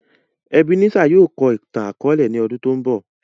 Ebenezer yóò kọ ìtan-àkọọlẹ ni ọ́dun to ńbọ.